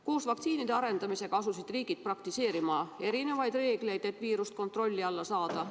Koos vaktsiinide arendamisega asusid riigid praktiseerima erinevaid reegleid, et viirust kontrolli alla saada.